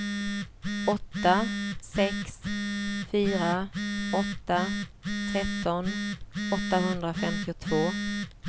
åtta sex fyra åtta tretton åttahundrafemtiotvå